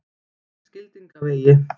Skildingavegi